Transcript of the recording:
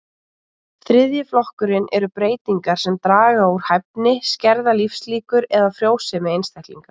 Þriðji flokkurinn eru breytingar sem draga úr hæfni, skerða lífslíkur eða frjósemi einstaklinga.